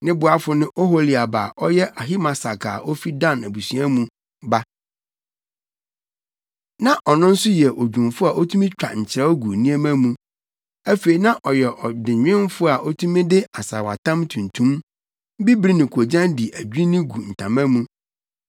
Ne boafo ne Oholiab a ɔyɛ Ahisamak a ofi Dan abusua mu ba. Na ɔno nso yɛ odwumfo a otumi twa nkyerɛw gu nneɛma mu. Afei na ɔyɛ adenwenfo a otumi de asaawatam tuntum, bibiri ne koogyan di adwinni gu ntama mu.